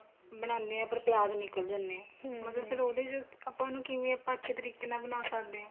ਬਣਾਨੇ ਆ ਪਰ ਪਿਆਜ ਨਿਕਲ ਜਾਨੇ ਏ ਮਤਲਬ ਫੇਰ ਉਹਦੇ ਚ ਆਪਾਂ ਉਨੂੰ ਕਿਵੇਂ ਆਪਾਂ ਅੱਛੇ ਤਰੀਕੇ ਨਾਲ ਬਣਾ ਸਕਦੇ ਆ